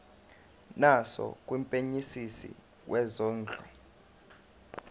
naso kumphenyisisi wezondlo